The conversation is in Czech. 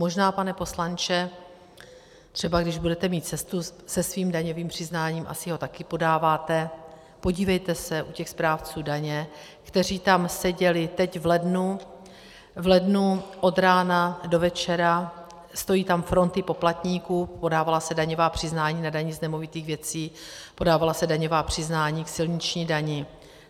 Možná, pane poslanče, třeba když budete mít cestu se svým daňovým přiznáním, asi ho také podáváte, podívejte se u těch správců daně, kteří tam seděli teď v lednu, v lednu od rána do večera, stojí tam fronty poplatníků, podávala se daňová přiznání na daně z nemovitých věcí, podávala se daňová přiznání k silniční dani.